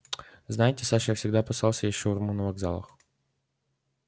знаете саша я всегда опасался есть шаурму на вокзалах